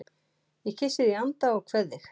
Ég kyssi þig í anda og kveð þig